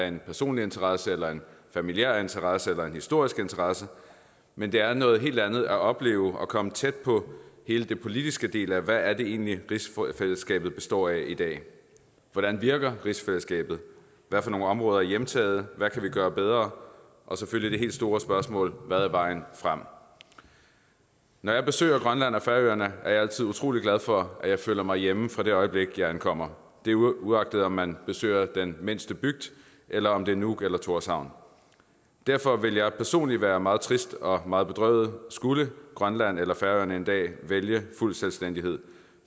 en personlig interesse eller en familiær interesse eller en historisk interesse men det er noget helt andet at opleve og komme tæt på hele den politiske del hvad er det egentlig rigsfællesskabet består af i dag hvordan virker rigsfællesskabet hvad for nogle områder er hjemtaget hvad kan vi gøre bedre og selvfølgelig det helt store spørgsmål hvad er vejen frem når jeg besøger grønland og færøerne er jeg altid utrolig glad for at jeg føler mig hjemme fra det øjeblik jeg ankommer det er uagtet om man besøger den mindste bygd eller om det er nuuk eller tórshavn derfor ville jeg personligt være meget trist og meget bedrøvet skulle grønland eller færøerne en dag vælge fuld selvstændighed